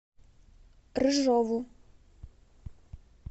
рыжову